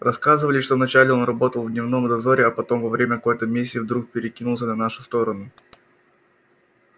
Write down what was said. рассказывали что вначале он работал в дневном дозоре а потом во время какой-то миссии вдруг перекинулся на нашу сторону